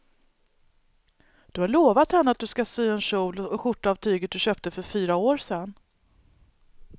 Du har lovat henne att du ska sy en kjol och skjorta av tyget du köpte för fyra år sedan.